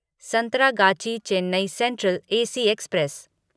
Santragachi Chennai Central AC express